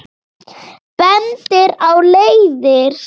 Bendir á leiðir.